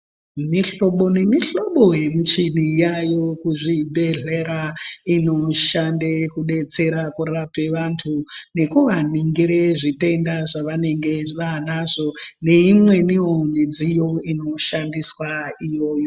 Mihlobo nemihlobo yemuchini yayao kuzvibhedhlera inoshande kudetsera kurape vantu nekuvanongire zvitenda zvavanenge vaanoazvi neimweniwo midziyo inoshandiswa iyoyo.